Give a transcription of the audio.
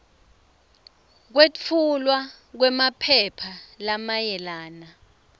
kwetfulwa kwemaphepha lamayelana